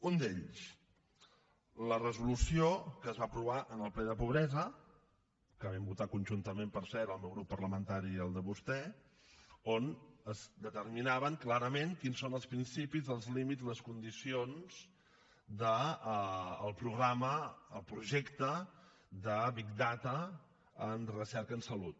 un d’ells la resolució que es va aprovar en el ple de pobresa que vam votar conjuntament per cert el meu grup parlamentari i el de vostè on es determinaven clarament quins són els principis els límits les condicions del programa el projecte de big data en recerca en salut